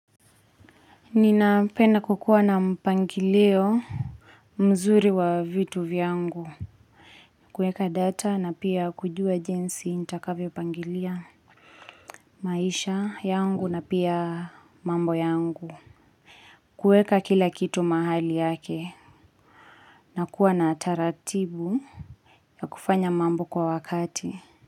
Ninapenda kukuwa na mpangilio mzuri wa vitu vyangu. Kuweka data na pia kujua jinsi nitakavyopangilia maisha yangu na pia mambo yangu. Kuweka kila kitu mahali yake. Na kuwa na taratibu ya kufanya mambo kwa wakati.